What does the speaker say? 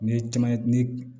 Ni ye caman ye ni